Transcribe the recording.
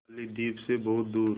बालीद्वीप सें बहुत दूर